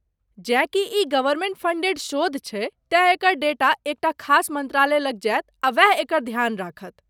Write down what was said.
जेँ कि ई गवर्मेन्ट फंडेड शोध छैक, तेँ एकर डेटा एकटा खास मन्त्रालय लग जायत आ वैह एकर ध्यान राखत।